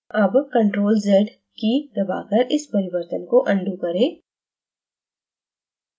अब ctrl + z की key दबाकर इस परिवर्तन को अनडू करें